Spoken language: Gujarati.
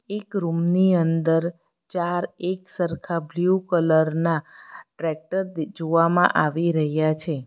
એક રૂમ ની અંદર ચાર એક સરખા બ્લુ કલર ના ટ્રેક્ટર દે જોવામાં આવી રહ્યા છે.